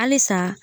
Halisa